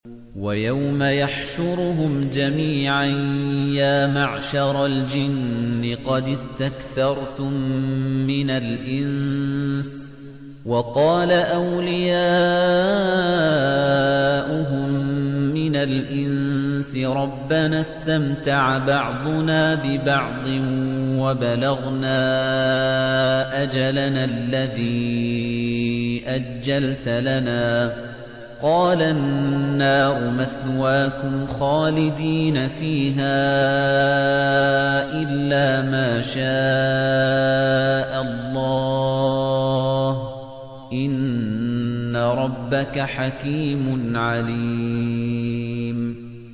وَيَوْمَ يَحْشُرُهُمْ جَمِيعًا يَا مَعْشَرَ الْجِنِّ قَدِ اسْتَكْثَرْتُم مِّنَ الْإِنسِ ۖ وَقَالَ أَوْلِيَاؤُهُم مِّنَ الْإِنسِ رَبَّنَا اسْتَمْتَعَ بَعْضُنَا بِبَعْضٍ وَبَلَغْنَا أَجَلَنَا الَّذِي أَجَّلْتَ لَنَا ۚ قَالَ النَّارُ مَثْوَاكُمْ خَالِدِينَ فِيهَا إِلَّا مَا شَاءَ اللَّهُ ۗ إِنَّ رَبَّكَ حَكِيمٌ عَلِيمٌ